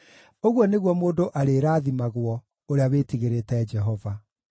Ũguo nĩguo mũndũ arĩrathimagwo, ũrĩa wĩtigĩrĩte Jehova.